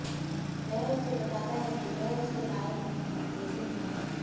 वह उसे बताता है कि वह उसके लायक नहीं है लेकिन है